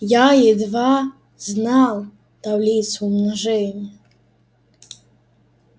я едва знал таблицу умножения